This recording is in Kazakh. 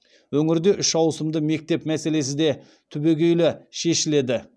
өңірде үш ауысымды мектеп мәселесі де түгегейлі шешіледі